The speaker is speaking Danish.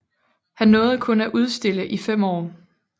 Han nåede kun at udstille i fem år